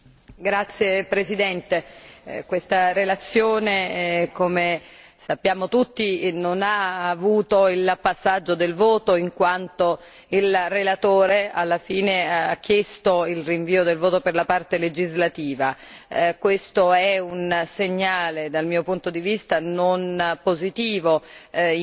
Signora Presidente, onorevoli colleghi, questa relazione, come sappiamo tutti, non ha avuto il passaggio del voto in quanto il relatore alla fine ha chiesto il rinvio del voto per la parte legislativa. Questo è un segnale, dal mio punto di vista, non positivo